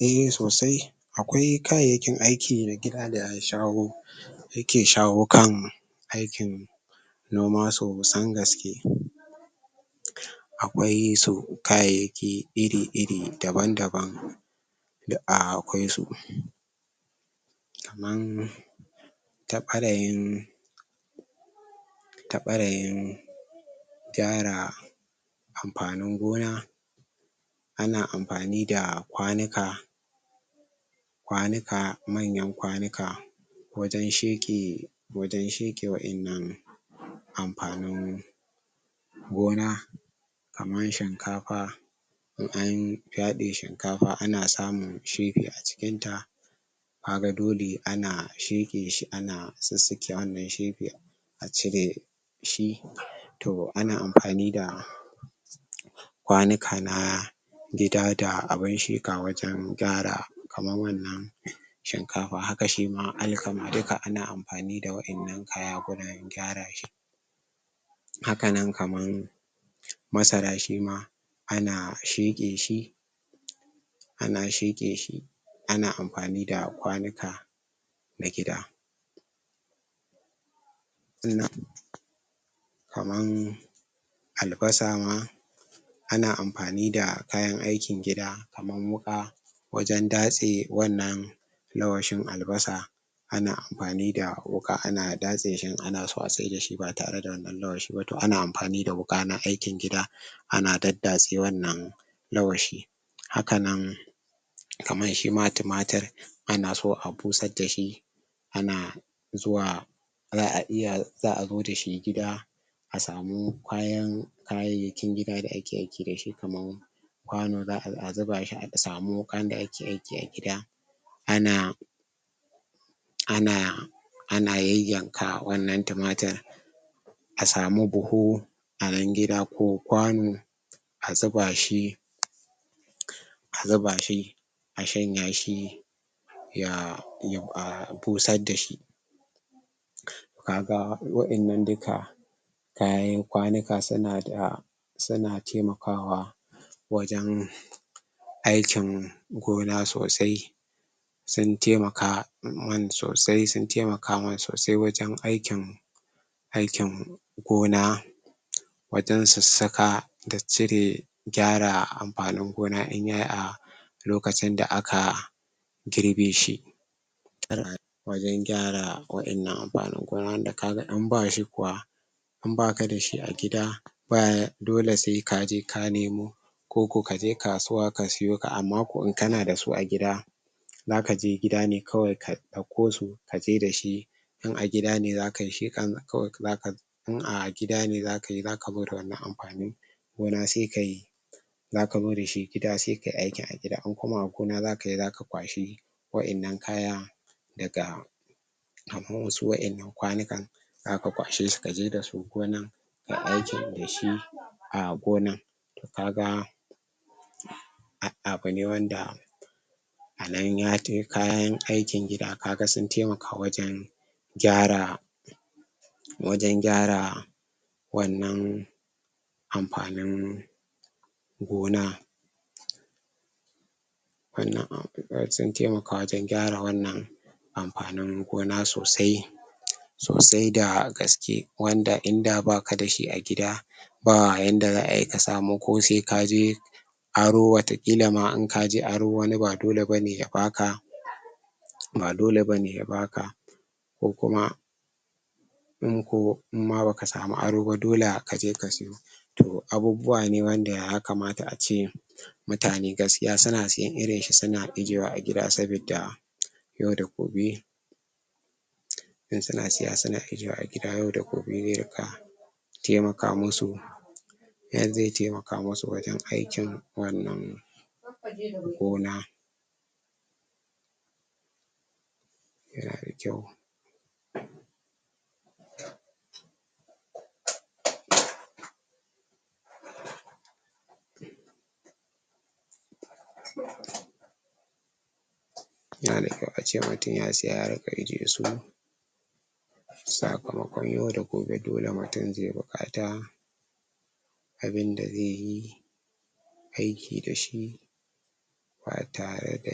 a sosai akwai kayakin aiki na gida da shago take sharo kan aikin noma so san gaske akwai so kayaki iri-iri, daban-daban da akwai su kaman ta barayin ta barayin gyara amfanin gona a na amfani da kwanuka kwanuka manyan kwanuka wajen sheke wajen sheke wa inanu amfnin gona kaman shinkafa in an gyaɗe shinkafa a na sammun shibi a cikin ta ka ga dole a na sheke shi a na tsisike wanan sheƙe a cire shi toh a na amfani da kwanuka na gida da abun sheka wajen gyara kaman wannan shinkafa hakka shi ma, alkama dukka a na amfani da waƴannan kaya gurin gyara shi haka nan kaman masara shima a na sheƙe shi a na sheƙe shi a na amfani da kwanuka na gida?? kaman albasa ma ana amfani da kayan aikin gida kaman wuka wajen dase wannan lawashin albasa ana amfani da wuka a na dase shi a na so a saida shi ba tare da wannan lawashi ba toh a na amfani da wuka na aikin gida ana dadase wannan lawashi haka nan kaman shi ma tumatur a na so a busar dashi ana zuwa zaa iya zaa zo da shi gida a samu kwayan kayakin gida da ake aiki dashi kaman kwanu za'a zuba shi aka samu kayan da ake aiki a gida a na a na, a na yayanka wannan tumatur a samu buhu, a nan gida ko kwanu a zuba shi a zuba shi, a shanya shi ya? busar dashi ka ga, waƴannan dukka kayan kwanuka su na da, su na taimakawa wajen aikin gona sosai sun taimaka mun sosai sun taimaka mun sosai wajen aikin aikin gona wajen su saka da cire gyara amfanin gona in yayi a lokacin da aka girbe shi? wajen gyara waƴannan amfani gonada ka gan in ba shi kuwa in ba ka dashi a gida? dole sai ka je ka nemo koko ka je kasuwa ka siyo ka, amma ko in ka na da su a gida za ka je gida ne kawai ka dauko su ka je da shi in a gida ne za ka yi? kawai za ka yi in a gida ne za ka yi, za ka bar wannan amfanin gona sai ka yi za ko zo da shi gida sai ka yi aikin a gida in kuma a gona za ka yi, za ka kwashi waƴannan kaya daga kamu in su waƴannan kwanukan za ka kwashe su ka je da su gonan ka aikin dashi a gona, ka ga abun ne wanda a nan ya tai kayan aikin gida ka ga sun taimaka wajen gyara waje gyara wannan amfanin gona wannan? su taimaka wajen gyara wannan amfanin gona sosai sosai da gaske wanda in da ba ka dashi a gida ba yanda zaa yi ka sama ko sai ka je aro watakilla ma in ka je aro ma wanni ba dole ba ne ya ba ka ba dole ba ne ya ba ka ko kuma in ko, imma ba ka samu aro ba dole ka je ka tsiyo toh abubuwa ne wanda ya kamata a ce mutane gaskiya su na tsiyan irin shi su na ijewa a gida sabida yau da gobe su na siya su na ijewa a gida yau da gobe taimaka ma su nan zai taimaka massu wajen aikin wannan gona ya na da kyau ya na da kyau a ce in mutum ya saya ya rika ije su sakamakkon yau da gobe dole mutum zai bukkata abinda zai yi aiki da shi ba tare da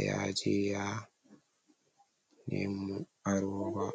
ya ja ya nemo aro ba